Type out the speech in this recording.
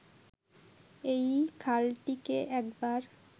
এই খালটিকে একবার